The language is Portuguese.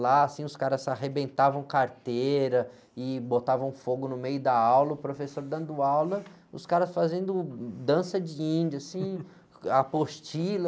Lá, assim, os caras arrebentavam carteira e botavam fogo no meio da aula, o professor dando aula, os caras fazendo dança de índia, assim, com a apostila.